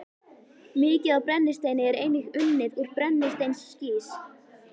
Mikið af brennisteini er einnig unnið úr brennisteinskís.